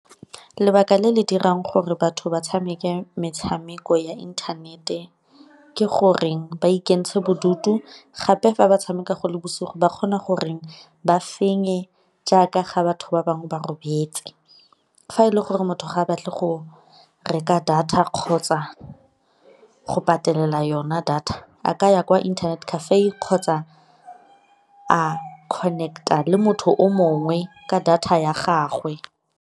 Lebaka le le dirang gore batho ba tshameke metshameko ya inthanete ke gore ba ikentsha bodutu, gape fa ba tshameka go le bosigo ba kgona gore ba fenye jaaka ga batho ba bangwe ba robetse. Fa e le gore motho ga a batle go reka data kgotsa go patelela yona data a ka ya kwa internet cafe kgotsa a connect-a le motho o mongwe ka data ya gagwe.